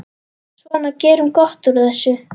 Svona, gerum gott úr þessu.